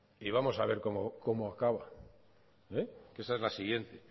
y vamos a ver cómo acaba que esa es la siguiente